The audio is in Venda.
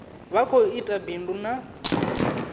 vha khou ita bindu ḽa